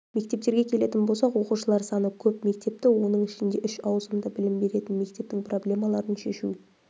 мектептерге келетін болсақ оқушылар саны көп мектепті оның ішінде үш ауысымда білім беретін мектептің проблемаларын шешу